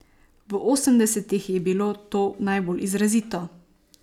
V osemdesetih je bilo to najbolj izrazito.